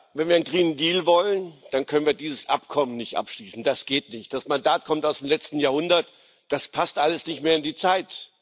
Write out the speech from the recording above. Wenn wir einen wollen, dann können wir dieses Abkommen nicht abschließen das geht nicht. Das Mandat kommt aus dem letzten Jahrhundert, das passt alles nicht mehr in die Zeit.